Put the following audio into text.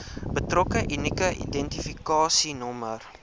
betrokke unieke identifikasienommer